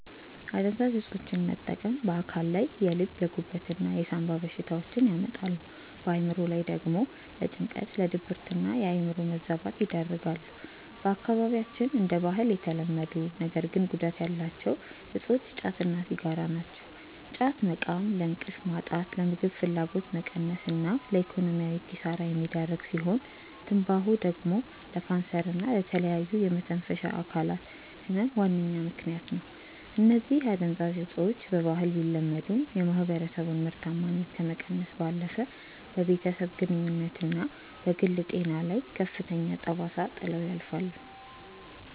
አደንዛዥ እፆችን መጠቀም በአካል ላይ የልብ፣ የጉበት እና የሳምባ በሽታዎችን ያመጣሉ፣ በአእምሮ ላይ ደግሞ ለጭንቀት፣ ለድብርትና የአእምሮ መዛባት ይዳርጋሉ። በአካባቢያችን እንደ ባህል የተለመዱ ነገር ግን ጉዳት ያላቸው እፆች ጫት እና ሲጋራ ናቸው። ጫት መቃም ለእንቅልፍ ማጣት፣ ለምግብ ፍላጎት መቀነስ እና ለኢኮኖሚያዊ ኪሳራ የሚዳርግ ሲሆን፤ ትንባሆ ደግሞ ለካንሰር እና ለተለያዩ የመተንፈሻ አካላት ህመም ዋነኛ ምከንያት ነው። እነዚህ አደንዛዥ እፆች በባህል ቢለመዱም፣ የማህበረሰቡን ምርታማነት ከመቀነስ ባለፈ በቤተሰብ ግንኙነትና በግል ጤና ላይ ከፍተኛ ጠባሳ ጥለው ያልፋሉ።